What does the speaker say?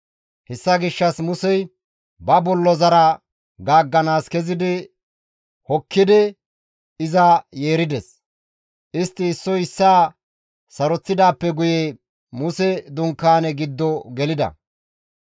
Hessa gishshas Musey ba bollozara gaagganaas kezidi hokkidi iza yeerides. Istti issoy issaa saroththidaappe guye Muse dunkaane giddo gelida.